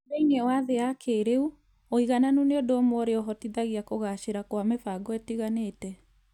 Thĩinĩ wa thĩ ya kĩĩrĩu, ũigananĩru nĩ ũndũ ũmwe ũrĩa ũhotithagia kũgaacĩra kwa mĩbango ĩtiganĩte.